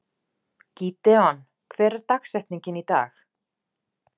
Gídeon, hver er dagsetningin í dag?